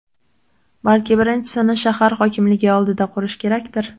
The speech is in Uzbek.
Balki birinchisini shahar hokimligi oldida qurish kerakdir?.